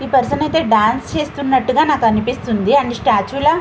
ఈ పర్సన్ ఐతే డాన్స్ చేస్తునట్టుగా నాకు అనుపిస్తుంది అండ్ స్టాచు ల --